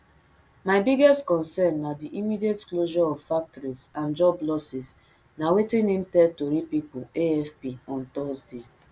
my biggest concern na di immediate closure of factories and job losses na wetin im tell tori pipo afp on thursday